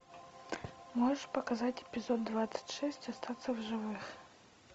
можешь показать эпизод двадцать шесть остаться в живых